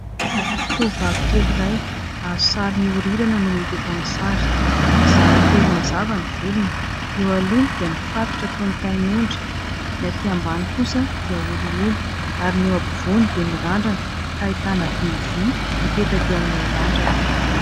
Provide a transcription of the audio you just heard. Tovovavy kely iray azo sary mihorirana no hita eto amin'ny sary.. Mizara telo mazava ny volony. Eo aloha dia mifatotra toy ny tain'ondry. Ny aty ambany kosa dia holiholy ary ny ao ampivoany dia mirandrana ka ahitana v v mipetaka eo amin'ilay randrana.